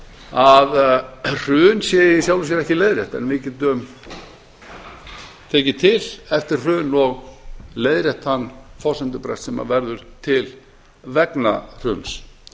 hrun sé í sjálfu sér ekki leiðrétt en við getum tekið til eftir hrun og leiðrétt þann forsendubrest sem verður til vegna hruns